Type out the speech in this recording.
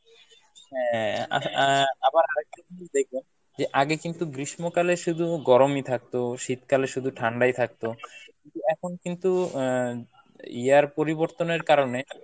হ্যাঁ আহ আবার আরেকটা জিনিস দেখবেন যে আগে কিন্তু গ্রীষ্মকালে শুধু গরম ই থাকতো শীতকালে শুধু ঠান্ডা ই থাকতো কিন্তু এখন কিন্তু আহ year পরিবর্তনের কারনে